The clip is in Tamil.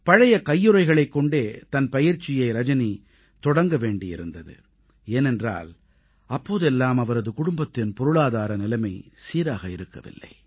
பழைய கையுறைகளைக் கொண்டே தன் பயிற்சியை ரஜனி தொடங்க வேண்டியிருந்தது ஏனென்றால் அப்போதெல்லாம் அவரது குடும்பத்தின் பொருளாதார நிலைமை சீராக இருக்கவில்லை